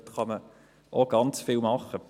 Auch dort kann man ganz viel tun.